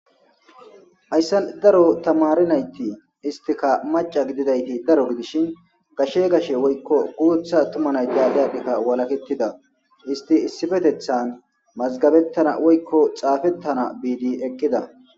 Hayssan daro tamarinayti istika maca gididayti daro gidishin gashe gashe woykko guutha tumanay daale addhikka walakettida isti issifetethan mazgabettana woykko xaafettana biidi eqqida.